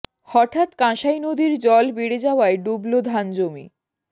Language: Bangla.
হঠাৎ কাঁসাই নদীর জল বেড়ে যাওয়ায় ডুবল ধান জমি